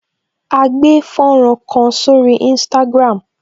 A gbé fọ́nrán kan sórí Instagram